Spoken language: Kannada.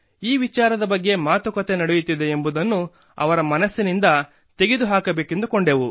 ಈ ವಿಚಾರದ ಬಗ್ಗೆ ಮಾತುಕತೆ ನಡೆಯುತ್ತಿದೆ ಎಂಬುದನ್ನು ಅವರ ಮನಸ್ಸಿನಿಂದ ತೆಗೆದುಹಾಕಬೇಕೆಂದುಕೊಂಡೆವು